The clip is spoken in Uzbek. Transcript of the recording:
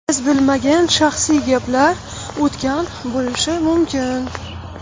Biz bilmagan shaxsiy gaplar o‘tgan bo‘lishi mumkin.